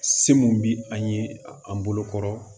Se mun bi an ye an bolo kɔrɔ